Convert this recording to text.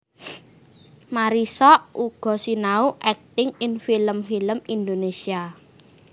Marissa uga sinau akting ing film film Indonésia